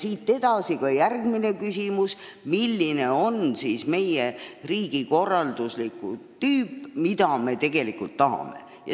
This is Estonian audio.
Siit edasi on järgmine küsimus: mis tüüpi on see riigikorraldus, mida me tegelikult tahame?